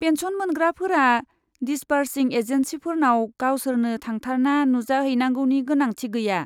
Pension मोनग्राफोरा दिसबार्सिं एजेन्सिफोरनाव गावसोरनो थांथारना नुजाहैनांगौनि गोनांथि गैया।